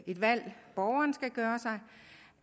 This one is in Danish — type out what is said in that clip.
et valg borgeren skal gøre sig